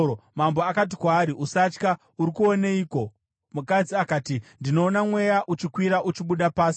Mambo akati kwaari, “Usatya. Uri kuoneiko?” Mukadzi akati, “Ndinoona mweya uchikwira uchibuda pasi.”